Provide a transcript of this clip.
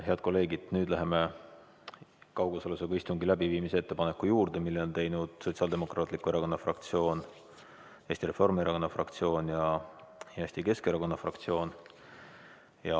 Head kolleegid, nüüd läheme kaugosalusega istungi läbiviimise ettepaneku juurde, mille on teinud Sotsiaaldemokraatliku Erakonna fraktsioon, Eesti Reformierakonna fraktsioon ja Eesti Keskerakonna fraktsioon.